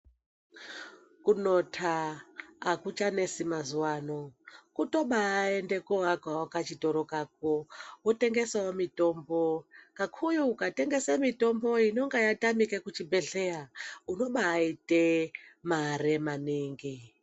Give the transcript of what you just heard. Kunota akuchanesi mazuwano kutobaende koakawo chitoro chako wotengesawo mutombo kakuyu ukatenge mutombo inenge yatamika kuchibhehleya unobaite mare maningi.